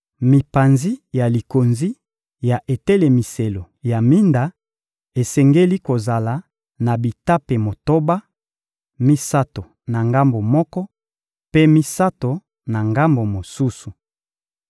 Mipanzi ya likonzi ya etelemiselo ya minda esengeli kozala na bitape motoba: misato na ngambo moko, mpe misato na ngambo mosusu.